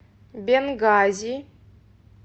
бенгази